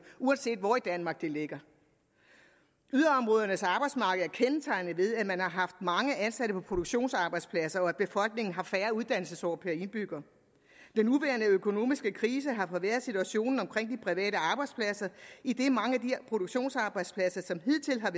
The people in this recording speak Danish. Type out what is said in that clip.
uanset hvor i danmark de ligger yderområdernes arbejdsmarked er kendetegnet ved at man har haft mange ansatte på produktionsarbejdspladser og at befolkningen har færre uddannelsesår per indbygger den nuværende økonomiske krise har forværret situationen omkring de private arbejdspladser idet mange af de produktionsarbejdspladser som hidtil har